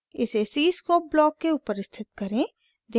इसे cscope block के ऊपर स्थित करें